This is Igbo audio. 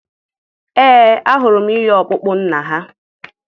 Ee, ahụrụ m ihe ọkpụkpụ nna ha.